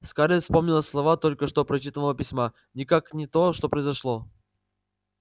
скарлетт вспомнила слова только что прочитанного письма никак не то что произошло